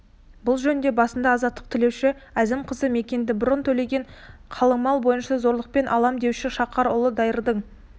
бұл жөнінде басына азаттық тілеуші әзім қызы мәкенді бұрын төленген қалыңмал бойынша зорлықпен алам деуші шақар ұлы дайырдың